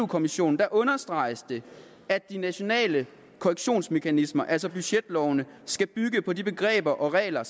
kommissionen understreges det at de nationale korrektionsmekanismer altså budgetlovene skal bygge på de begreber og regler